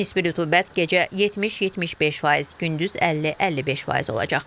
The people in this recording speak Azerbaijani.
Nisbi rütubət gecə 70-75%, gündüz 50-55% olacaq.